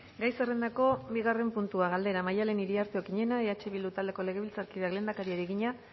gai zerrendako bigarren puntua galdera maddalen iriarte okiñena eh bildu taldeko legebiltzarkideak lehendakariari egina